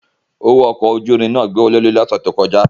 Owo ọkọ oju irin náa gbowolori ni ọsẹ to kọja.